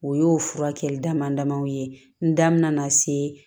O y'o furakɛli dama damaw ye n da mɛna se